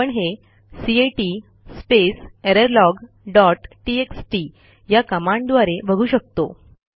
आपण हेcat space error log dot TXT या कमांडद्वारे बघू शकतो